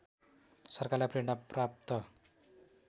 सरकारलाई प्रेरणा प्राप्त